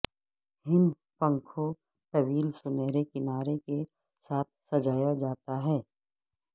ہند پنکھوں طویل سنہرے کنارے کے ساتھ سجایا جاتا ہے